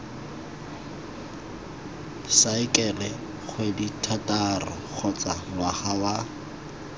saekele kgwedithataro kgotsa ngwaga wa